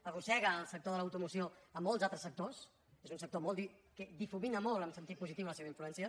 arrossega el sector de l’automoció molts altres sectors és un sector que difumina molt en sentit positiu la seva influència